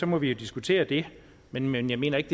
må vi jo diskutere det men men jeg mener ikke